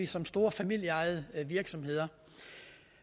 som store familieejede virksomheder